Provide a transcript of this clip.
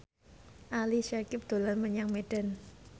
Ali Syakieb dolan menyang Medan